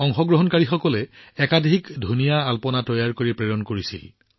অংশগ্ৰহণকাৰীসকলে বহুতো ধুনীয়া ৰংগোলী তৈয়াৰ কৰিছিল এটাতকৈ আনটো ভাল